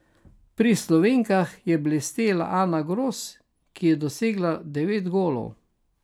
Pri Slovenkah je blestela Ana Gros, ki je dosegla devet golov.